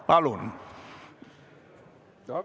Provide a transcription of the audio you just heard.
Palun!